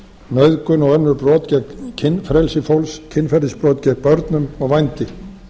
nauðgun og önnur brot gegn kynfrelsi fólks kynferðisbrot gegn börnum og vændi